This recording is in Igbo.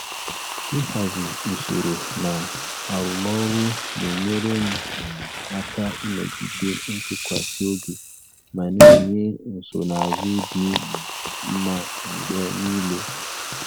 Ịhazi usoro na arụmọrụ na-enyere m um aka ịnọgide ntụkwasị obi ma na-enye nsonaazụ dị um mma mgbe niile.